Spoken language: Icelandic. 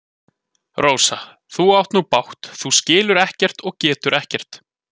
Rósa, þú átt nú bágt, þú skilur ekkert og getur ekkert.